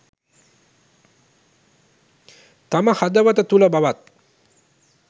තම හදවත තුළ බවත්